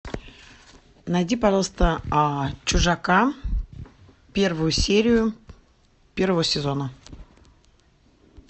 найди пожалуйста чужака первую серию первого сезона